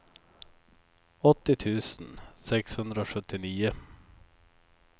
åttio tusen sexhundrasjuttionio